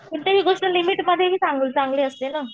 कोणतीही गोष्ट लिमिटमधेच चांगली चांगली असते ना.